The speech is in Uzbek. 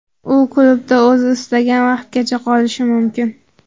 U klubda o‘zi istagan vaqtgacha qolishi mumkin.